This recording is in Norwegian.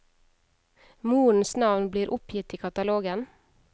Morens navn blir oppgitt i katalogen.